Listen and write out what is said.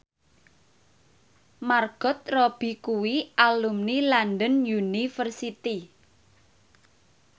Margot Robbie kuwi alumni London University